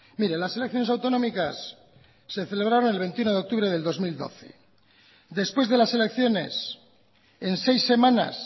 mire las elecciones autonómicas se celebraron el veintiuno de octubre de dos mil doce después de las elecciones en seis semanas